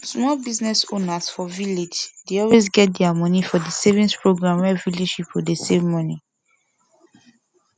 small business owners for village dey always get their money for di savings program wey village pipo dey save money